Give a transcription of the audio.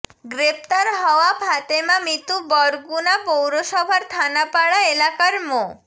গ্রেপ্তার হওয়া ফাতেমা মিতু বরগুনা পৌরসভার থানাপাড়া এলাকার মো